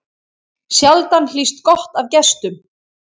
Sjaldan hlýst gott af gestum.